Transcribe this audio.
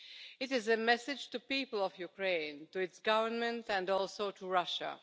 It is a message to the people of Ukraine, to its government and also to Russia.